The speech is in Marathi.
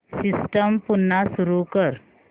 सिस्टम पुन्हा सुरू कर